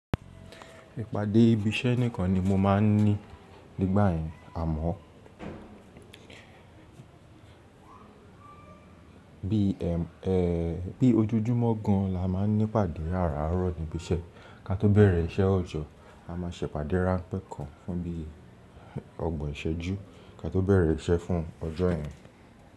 Ìpàdé ibi iṣẹ́ nìkan ni mo máa ń ní nígbà yen àmọ́ bí ojojúmọ́ gan la máa ń ní ìpàdé aráàrọ̀ ní ibi iṣẹ́, ká tó bẹ̀rẹ̀ iṣẹ́ ọjọ́ a máa ṣe ìpàdé ránpẹ́ kan fún bí ọgbọ̀n ìṣẹ́jú ká tó bẹ̀rẹ̀ iṣẹ́ fún ọjọ́ yẹn.